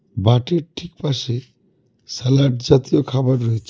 বাটির ঠিক পাশে স্যালাড জাতীয় খাবার রয়েছে.